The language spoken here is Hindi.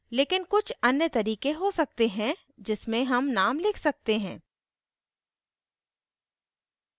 लेकिन कुछ अन्य तरीके हो सकते हैं जिसमें names names लिख सकते हैं